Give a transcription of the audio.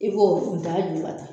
I b'o da juba ta